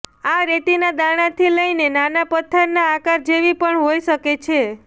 આ રેતીના દાણાથી લઇને નાના પથ્થરના આકાર જેવી પણ હોઈ શકે છે